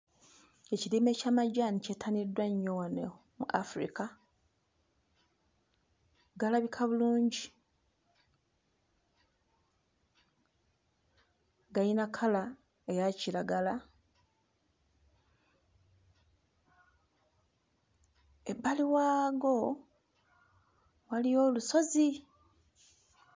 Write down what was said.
Ekirime ky'amajaani kyettaniddwa nnyo wano mu Africa, galabika bulungi, gayina kkala eya kiragala ebbali waago waliyo olusozi.